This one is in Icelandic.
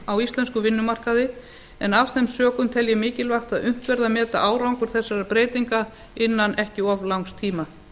á íslenskum vinnumarkaði en af þeim sökum tel ég mikilvægt að unnt verði að meta árangur þessara breytinga innan ekki of langs tíma